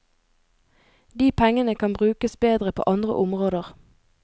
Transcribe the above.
De pengene kan brukes bedre på andre områder.